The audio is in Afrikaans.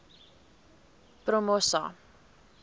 promosa